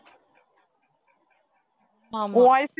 ஆமா